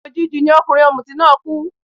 Òjijì ni ọkùnrin ọ̀mùtí náà kú